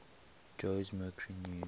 jose mercury news